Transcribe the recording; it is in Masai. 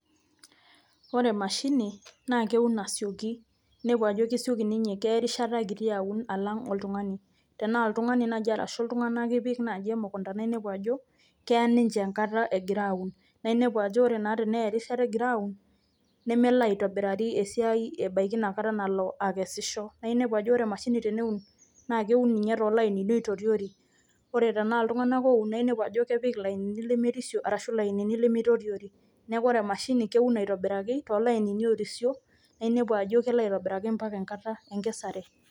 Ore emshini naa keun asioki inepu ajo kesioki ninye ,keya erishata kiti awun oleng alang oltungani, tenaa oltungani arashu iltungana ipik naaji emukunda naa inepu ajo keya ninche enkata egira aawun naa inepu ajo teneya erishata egira aawun nemelo aitobirari esiai ebaiki inakata nalo aikesisho naa inepu ajo ore ninye emashini teneun naa keun ninye too lainini oitoriori ,ore tenaa iltungana ooun naa inepu ajo kepik ilainini lemerisio arashu lainini lemeitoriori neeku ore emashini kewun aitobiraki too lainini oorisio naa inepu ajo kelo aitobiraki mpaka enkata enkasare.